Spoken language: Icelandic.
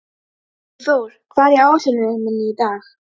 Vígþór, hvað er á áætluninni minni í dag?